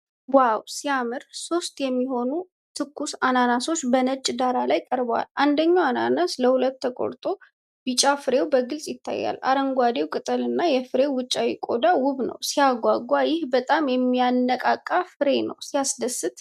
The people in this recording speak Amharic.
ዋው ሲያምር! ሶስት የሚሆኑ ትኩስ አናናሶች በነጭ ዳራ ላይ ቀርበዋል። አንደኛው አናናስ ለሁለት ተቆርጦ ቢጫው ፍሬ በግልጽ ይታያል። አረንጓዴው ቅጠልና የፍሬው ውጫዊ ቆዳ ውብ ነው። ሲያጓጓ! ይህ በጣም የሚያነቃቃ ፍሬ ነው። ሲያስደስት!